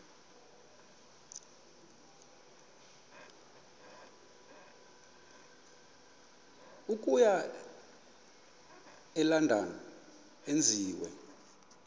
okuya elondon enziwe